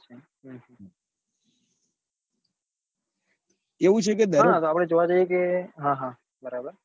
એવુ છે કે આપડે જોવા જઈએ કે હા બરાબર